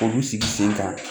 Olu sigi sen kan